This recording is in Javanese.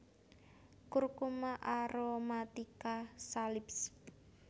Curcuma aromatica Salisb